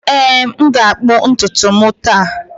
Ee, m ga-akpụ ntutu m taa.